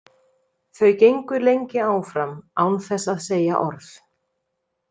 Þau gengu lengi áfram án þess að segja orð.